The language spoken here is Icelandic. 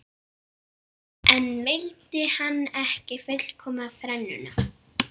Örn var troðfullur af hamborgara og frönskum.